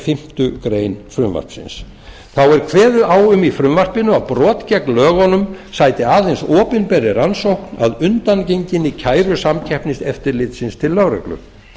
fimmtu grein frumvarpsins þá er kveðið á um í frumvarpinu að brot gegn lögunum sæti aðeins opinberri rannsókn að undangenginni kæru samkeppniseftirlitsins til lögreglu